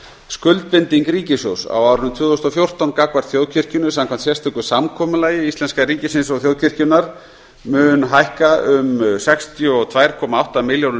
skuldbinding ríkissjóðs á árinu tvö þúsund og fjórtán gagnvart þjóðkirkjunni samkvæmt sérstöku samkomulagi íslenska ríkisins og þjóðkirkjunnar mun hækka um sextíu og tvær komma átta milljónir